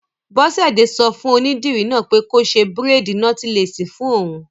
Bọ́sẹ̀dé sọ fún onídìrí náà pé kó ṣe bírèèdì nọ́tílẹ́ẹ̀sì fún òun